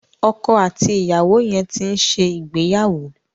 Ọkọ àti ìyàwó yẹn ti ń ṣe ìgbéyàwó.